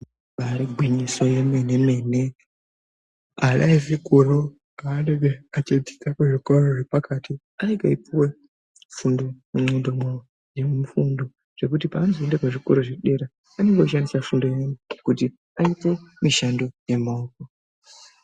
Ibaari gwinyiso yemene mene ana echikora paanoenda kodzidza pazvikoro zvepakati anenge aipuwa fundo yekuti paanozoenda kuzvikora zvepadera dera anoshandise fundo kuti aite mushando yemaoko